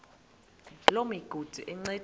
loo migudu encediswa